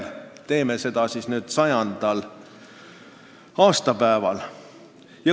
Aga teeme seda siis nüüd, 100. aastapäeval!